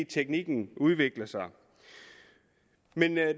teknikken udvikler sig men